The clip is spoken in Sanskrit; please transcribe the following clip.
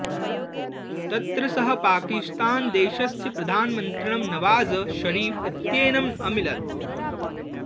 तत्र सः पाकिस्थानदेशस्य प्रधानमन्त्रिणं नवाज़ शरीफ इत्येनम् अमिलत्